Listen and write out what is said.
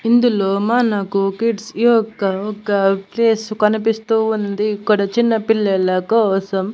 ఇందులో మనకు కిడ్స్ యొక్కగా ఒక ప్లేస్ కనిపిస్తూ ఉంది ఇక్కడ చిన్నపిల్లల కోసం.